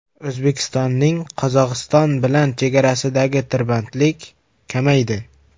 O‘zbekistonning Qozog‘iston bilan chegarasidagi tirbandlik kamaydi.